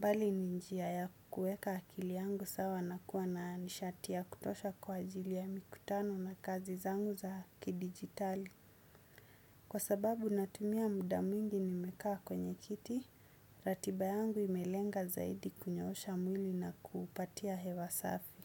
bali ni njia ya kuweka akili yangu sawa na kuwa na nishati ya kutosha kwa ajili ya mikutano na kazi zangu za kidijitali. Kwa sababu natumia muda mwingi nimekaa kwenye kiti ratiba yangu imelenga zaidi kunyoosha mwili na kuupatia hewa safi.